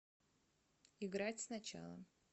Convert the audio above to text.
играть сначала